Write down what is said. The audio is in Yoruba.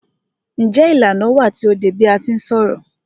Njé ìlànà wà tí o dé bi a ti ń ṣọ̀rọ̀?